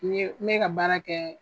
N ye n bɛ ka baara kɛ.